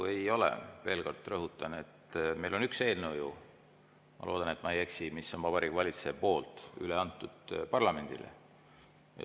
Veel kord rõhutan, et meil on üks eelnõu ju – ma loodan, et ma ei eksi –, mis on Vabariigi Valitsuse poolt üle antud parlamendile.